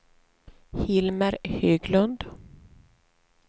Hilmer Höglund